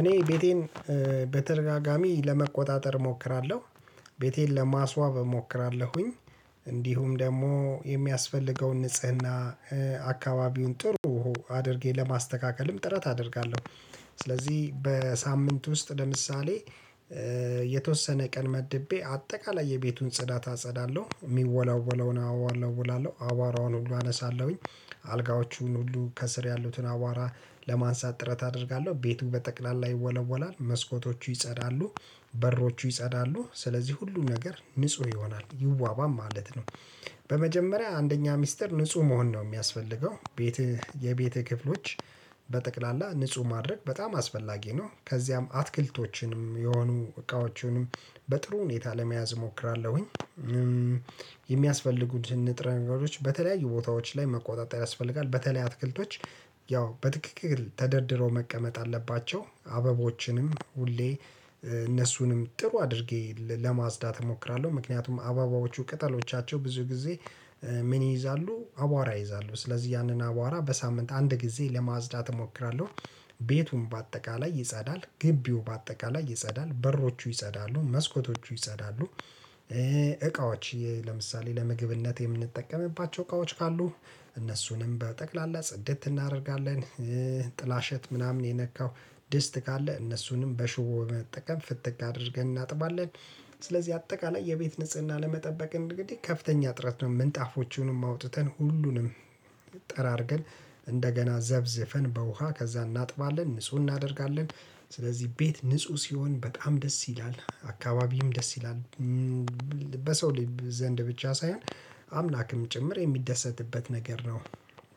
እኔ ቤቴን በተደጋጋሚ ለመቆጣጠር እሞክራለሁ። ቤቴን ለማስዋብ እሞክራለሁኝ። እንዲሁም ደግሞ የሚያስፈልገውን ንጽህና አካባቢውን ጥሩ አድርጌ ለማስተካከልም ጥረት አደርጋለሁ። ስለዚህ በሳምንት ውስጥ ለምሳሌ የተወሰነ ቀን መድቤ አጠቃላይ የቤቱን ጽዳት አጸዳለሁ የሚወላወለውን እወለውላለሁ አቧራውን ሁሉ አነሳለሁኝ። አልጋዎቹን ሁሉ ከስር ያሉትን አቧራ ለማንሳት ጥረት አደርጋለሁ ቤቱ በጠቅላላ ይወለወላል መስኮቶቹ ይጸዳሉ በሮቹ ይጸዳሉ ስለዚህ ሁሉም ነገር ንጹህ ይሆናል ይዋባም ማለት ነው። በመጀመሪያ አንደኛ ሚስጥር ንጹህ መሆን ነው የሚያስፈልገው ቤትህ የቤትህ ክፍሎች በጠቅላላ ንጹህ ማድረግ በጣም አስፈላጊ ነው። ከዚያም አትክልቶችንም የሆኑ እቃዎችንም በጥሩ ሁኔታ ለመያዝ እሞክራለሁኝ። የሚያስፈልጉትን ንጥረ ነገሮች በተለያዩ ቦታዎች ላይ መቆጣጠር ያስፈልጋል። በተለይ አትክልቶች ያው በትክክል ተደርድሮ መቀመጥ አለባቸው አበቦችንም ሁሌ እነሱንም ጥሩ አድርጌ ለማጽዳት እሞክራለሁ። ምክንያቱም አበቦቹ ቅጠሎቻቸው ብዙ ጊዜ ምን ይይዛሉ አቧራ ይይዛሉ ስለዚህ ያንን አቧራ በሳምንት አንድ ጊዜ ለማዝዳት እሞክራለሁ። ቤቱን በአጠቃላይ ይጸዳል ግቢው በአጠቃላይ ይጸዳል በሮቹ ይጸዳሉ መስኮቶቹ ይጸዳሉ። እቃዎች ለምሳሌ ለመግብነት የምንጠቀምባቸው እቃዎች ካሉ እነሱንም በጠቅላላ ጽድት እናደርጋለን። ጥላሸት ምናምን የነካው ድስት ካለ እነሱንም በሽቦ በመጠቀም ፍትግ አድርገን እናጥባለን። ስለዚህ አጠቃላይ የቤት ንጽህና ለመጠበቅ እንግዲህ ከፍተኛ ጥረት ነው። ምንጣፎቹንም አውጥተን ሁሉንም ጠራርገን እንደገና ዘፍዝፈን በውሃ ከዛ እናጥባለን ንጹህ እናደርጋለን። ስለዚህ ቤት ንጹህ ሲሆን በጣም ደስ ይላል አካባቢም ደስ ይላል። በሰው ልጅ ዘንድ ብቻ ሳይሆን አምላክም ጭምር የሚደሰትበት ነገር ነው።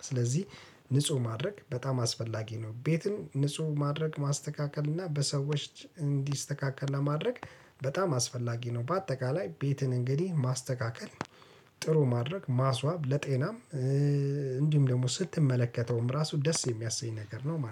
ስለዚህ ንጹህ ማድረግ በጣም አስፈላጊ ነው። ቤትን ንጹህ ማድረግ ማስተካከል እና በሰዎች እንዲስተካከል ለማድረግ በጣም አስፈላጊ ነው። በአጠቃላይ ቤትን እንግዲህ ማስተካከል ጥሩ ማድረግ ማስዋብ ለጤናም እንዲሁም ደግሞ ስትመለከተውም ራሱ ደስ የሚያሰኝ ነገር ነው ማለት ነው